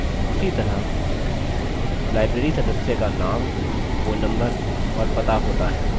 उसी तरह library सदस्य का name phone number और पता होता है